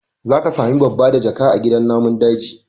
Za ka sami babbadajaka a gidan namun daji